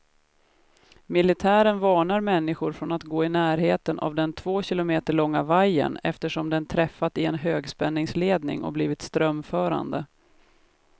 Militären varnar människor från att gå i närheten av den två kilometer långa vajern, eftersom den träffat en högspänningsledning och blivit strömförande.